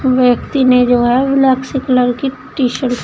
व्यक्ति ने जो है ब्लैक से कलर की टी-शर्ट --